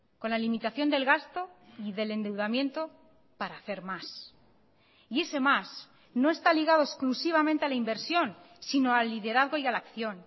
con la limitación del gasto y del endeudamiento para hacer más y ese más no está ligado exclusivamente a la inversión sino al liderazgo y a la acción